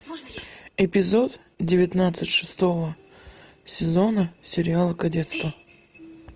эпизод девятнадцать шестого сезона сериала кадетство